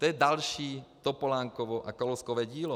To je další Topolánkovo a Kalouskovo dílo.